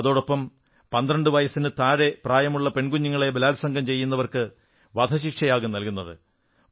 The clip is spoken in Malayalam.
അതോടൊപ്പം 12 വയസ്സിനേക്കാൾ കുറവ് പ്രായമുള്ള പെൺകുഞ്ഞുങ്ങളെ ബലാത്സംഗം ചെയ്യുന്നവർക്ക് വധശിക്ഷയാകും നല്കുന്നത്